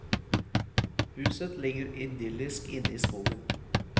Huset ligger idyllisk inne i skogen.